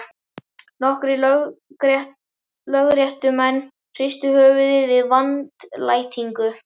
Nokkrir lögréttumenn hristu höfuðið með vandlætingu.